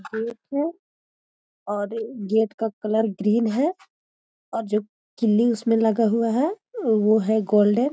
Gate है और gate का कलर ग्रीन है और जो किल्ली उसमे लगा हुआ है वो है गोल्डन ।